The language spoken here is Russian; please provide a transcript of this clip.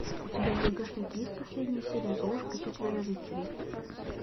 у тебя в загашнике есть последняя серия золушка и четверо рыцарей